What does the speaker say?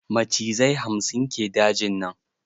Macizai hamsin ke dajin nan.